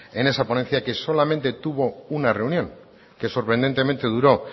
en esa ponencia que solamente tuvo una reunión que sorprendentemente duró